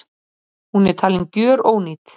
Hún er talin gjörónýt